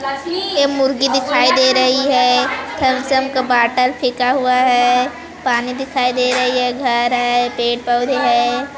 ये मुर्गी दिखाई दे रही हैथम्स अप का बॉटल फेंका हुआ हैपानी दिखाई दे रही है घर है पेड़ पौधे है।